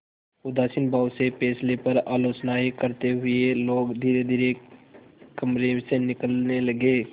उदासीन भाव से फैसले पर आलोचनाऍं करते हुए लोग धीरेधीरे कमरे से निकलने लगे